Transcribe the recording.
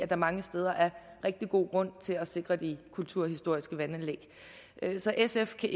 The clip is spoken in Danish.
der mange steder er rigtig god grund til at sikre de kulturhistoriske vandanlæg så sf kan